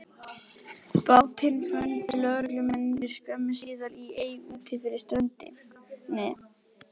Bátinn fundu lögreglumennirnir skömmu síðar í ey úti fyrir ströndinni.